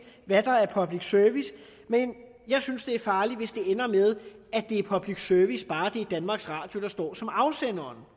hvad der er public service men jeg synes det er farligt hvis det ender med at det er public service bare det er danmarks radio der står som afsender